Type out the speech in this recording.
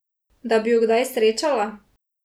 Da bi ju kdaj srečala?